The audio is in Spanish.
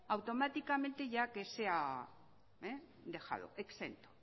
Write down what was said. automáticamente ya que sea dejado exento